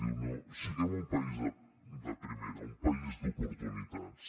diu siguem un país de primera un país d’oportunitats